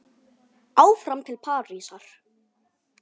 Áfram til Parísar